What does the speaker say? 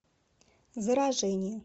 заражение